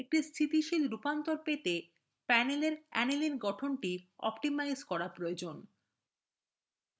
একটি স্থিতিশীল রূপান্তর পেতে panelএর aniline গঠন অপ্টিমাইজ করা প্রয়োজন